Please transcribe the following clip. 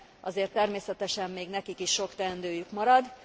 Azért természetesen még nekik is sok teendőjük marad.